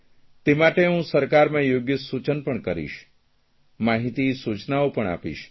તે માટે હું સરકારમાં યોગ્ય સૂચન પણ કરીશ માહીતી સુચનાઓ પણ આપીશ